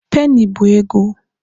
Penny bụ ego.